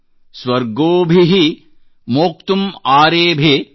ಸ್ವರ್ಗೋಭಿಃ ಮೋಕ್ತುಮ್ ಆರೇಭೇ ಪರ್ಜನ್ಯಃ ಕಾಲ ಆಗತೇ